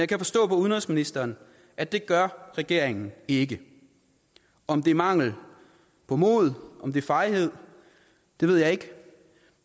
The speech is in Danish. kan forstå på udenrigsministeren at det gør regeringen ikke om det er mangel på mod om det er fejhed ved jeg ikke